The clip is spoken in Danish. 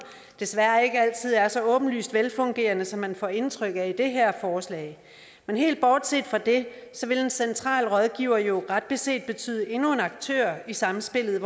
desværre ikke altid er så åbenlyst velfungerende som man får indtryk af i det her forslag men helt bortset fra det vil en central rådgiver jo ret beset betyde endnu en aktør i samspillet